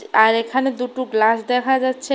আর এখানে দুটো গ্লাস দেখা যাচ্ছে।